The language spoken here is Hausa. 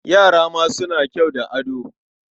Yara ma suna kyau da ado.